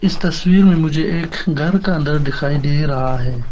इस तस्वीर में मुझे एक घर का अंदर दिखाई दे रहा है।